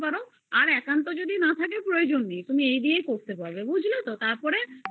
দিতে পারো যদি না থাকে তাহলে এইগুলো দিয়েই করতে পারো বুঝলে তো